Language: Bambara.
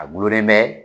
A gulonlen bɛ